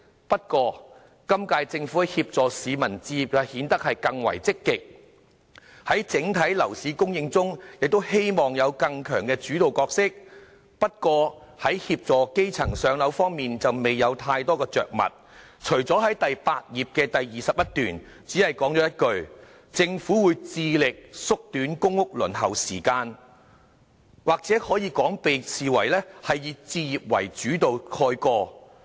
不過，今屆政府在協助市民置業方面顯得更為積極，而在整體樓市供應中亦希望有更強的主導角色，但在協助基層"上樓"方面則未有太多着墨，在第8頁第21段只是說了一句："政府會致力縮短公屋的輪候時間"，或者可以說是被"置業為主導"蓋過。